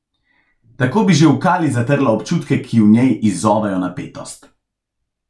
Tako bi že v kali zatrla občutke, ki v njej izzovejo napetost.